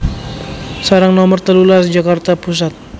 Serang Nomer telulas Jakarta Pusat